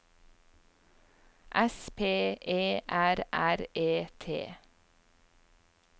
S P E R R E T